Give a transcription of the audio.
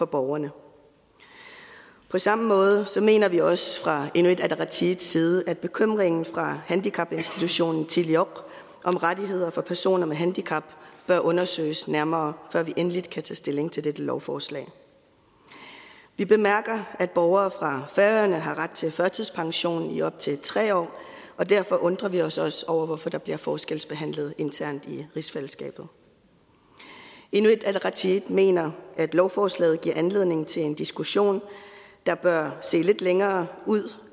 borgerne på samme måde mener vi også fra inuit ataqatigiits side at bekymringen fra handicapinstitutionen tilioq om rettigheder for personer med handicap bør undersøges nærmere før vi endeligt kan tage stilling til dette lovforslag vi bemærker at borgere fra færøerne har ret til førtidspension i op til tre år og derfor undrer vi os os over hvorfor der bliver forskelsbehandlet internt i rigsfællesskabet inuit ataqatigiit mener at lovforslaget giver anledning til en diskussion der bør se lidt længere ud